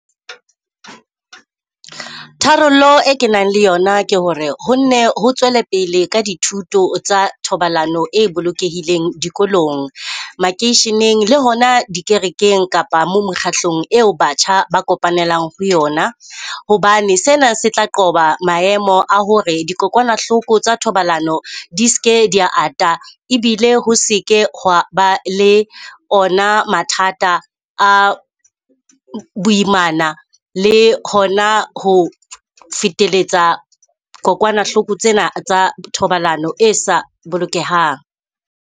Tharollo e ke nang le yona ke ho re ho nne ho tswele pele ka dithuto tsa thobalano e bolokehileng dikolong, makeisheneng le hona di kerekeng kapa moo mekgatlong eo batjha ba kopanelang ho yona. Hobane sena se tla qoba maemo a ho hore dikokwanahloko tsa thobalano di se ke di ya ata, ebile ho se ke ba le ona mathata a boimana le hona ho feteletsa kokwanahloko tsena tsa thobalano e sa bolokehang.